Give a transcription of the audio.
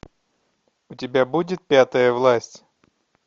у тебя будет пятая власть